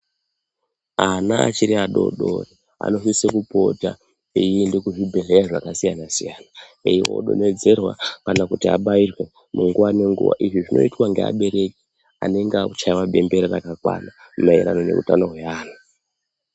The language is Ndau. Ana achiri adodori anosise kupota einda kuzvibhedhleya zvakasiyana siyana eiende kodonhodzerwa kana kuti abairwe mungawa nenguwa izvi zvinoitwa ngeabereki anenge akuchaiwa bembera rakakwana maererano nekutano hwevanhu.